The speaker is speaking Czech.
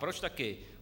Proč taky?